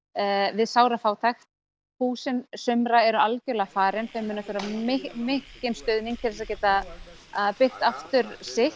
við sára fátækt hús sumra eru alveg farin þau munu þurfa mikinn stuðning til að geta byggt aftur sitt